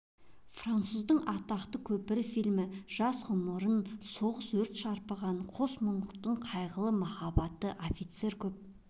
француздың атақты көпірі фильмі жас ғұмырын соғыс өрт шарпыған қос мұңлықтың қайғылы махаббатты офицер көп